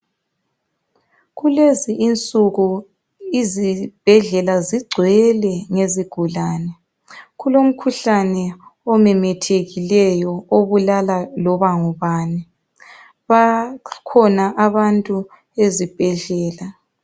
Kulezi insuku izibhedlela zigcwele ngezigulane. Kulomkhuhlane omemethekileyo obulala loba ngubani. Bakhona abantu ezibhedlela